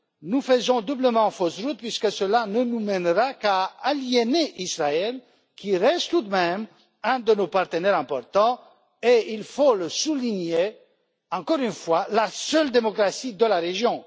Nous faisons doublement fausse route puisque cela ne nous mènera qu'à aliéner Israël, qui reste tout de même un de nos partenaires importants et, il faut le souligner encore une fois, la seule démocratie de la région.